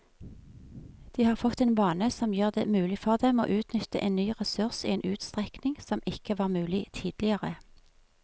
De har fått en vane som gjør det mulig for dem å utnytte en ny ressurs i en utstrekning som ikke var mulig tidligere.